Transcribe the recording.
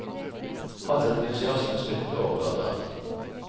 Hans entusiasme smittet over på datteren.